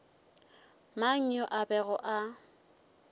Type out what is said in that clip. mang yo a bego a